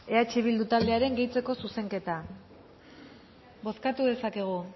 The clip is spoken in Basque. eh bildu taldearen gehitzeko zuzenketa bozkatu dezakegu